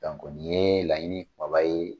ni ye laɲini kumaba ye.